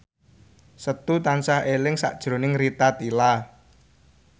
Setu tansah eling sakjroning Rita Tila